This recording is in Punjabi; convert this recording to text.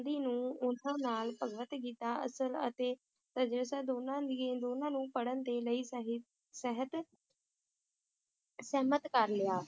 ਗਾਂਧੀ ਨੂੰ ਉਨ੍ਹਾਂ ਨਾਲ ਭਗਵਤ ਗੀਤਾ ਅਸਲ ਅਤੇ ਦੋਨਾਂ ਦੀ ਦੋਨਾਂ ਨੂੰ ਪੜ੍ਹਨ ਦੇ ਲਈ ਸਹਿ~ ਸਹਿਤ ਸਹਿਮਤ ਕਰ ਲਿਆ,